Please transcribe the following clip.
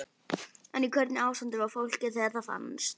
En í hvernig ástandi var fólkið þegar það fannst?